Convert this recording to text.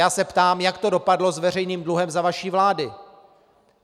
Já se ptám, jak to dopadlo s veřejným dluhem za vaší vlády?